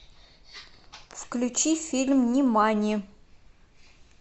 включи фильм нимани